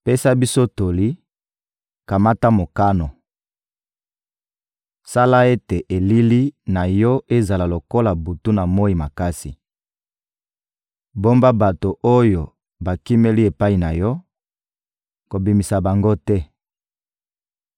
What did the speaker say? «Pesa biso toli, kamata mokano. Sala ete elili na yo ezala lokola butu na moyi makasi. Bomba bato oyo bakimeli epai na yo, kobimisa bango te.